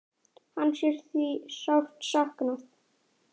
Hans er því sárt saknað.